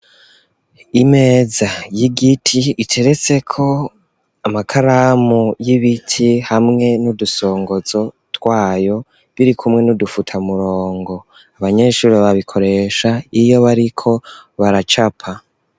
Imeza y'igiti, iteretseko amakaramu y'ibiti, hamwe n'udusongozo twayo, biri kumwe n'udufuta murongo, abanyeshuri babikoresha iyo bariko baracapa.